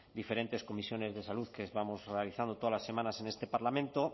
diferentes comisiones de salud que vamos realizando todas las semanas en este parlamento